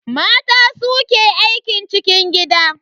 Mata su ke aikin cikin gida.